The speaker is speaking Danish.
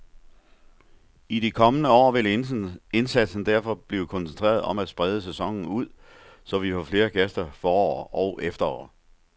I de kommende år vil indsatsen derfor blive koncentreret om at sprede sæsonen ud, så vi får flere gæster forår og efterår.